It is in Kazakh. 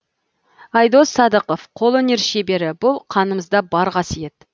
айдос садықов қолөнер шебері бұл қанымызда бар қасиет